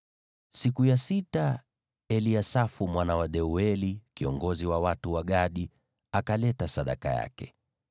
Siku ya sita Eliasafu mwana wa Deueli, kiongozi wa watu wa Gadi, alileta sadaka yake.